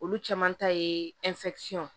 Olu caman ta ye